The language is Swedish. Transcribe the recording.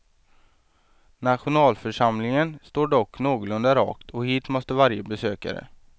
Nationalförsamlingen står dock någorlunda rakt och hit måste varje besökare.